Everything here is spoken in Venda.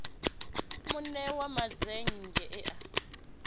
mune wa mazennge e a